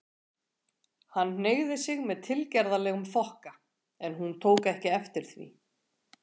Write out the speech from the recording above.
Hann hneigði sig með tilgerðarlegum þokka, en hún tók ekki eftir því.